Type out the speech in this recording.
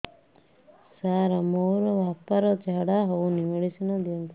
ସାର ମୋର ବାପା ର ଝାଡା ଯାଉନି ମେଡିସିନ ଦିଅନ୍ତୁ